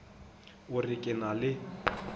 o re ke na le